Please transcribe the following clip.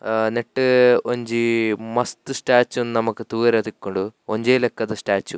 ಅ ನೆಟ್ಟ್ ಒಂಜಿ ಮಸ್ತ್ ಸ್ಟ್ಯಾಚ್ಯು ನು ನಮಕ್ ತೂವರೆ ತಿಕ್ಕುಂಡು ಒಂಜೇ ಲೆಕ್ಕದ ಸ್ಟ್ಯಾಚ್ಯು .